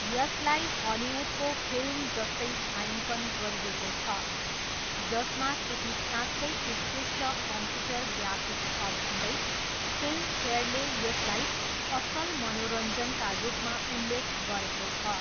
यसलाई हलिउडको फिल्म जस्तै छायाङ्कन गरिएको छ, जसमा केही साँच्चै उत्कृष्ट कम्प्युटर ग्राफिक्स छ भन्दै फिल्मफेयरले यसलाई असल मनोरञ्जनका रूपमा उल्लेख गरेको छ।